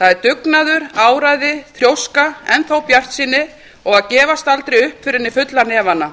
það er dugnaður áræði þrjóska enn þá bjartsýni og að gefast aldrei upp fyrr en í fulla hnefana